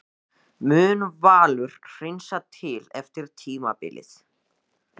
Mun Valur hreinsa til eftir tímabilið?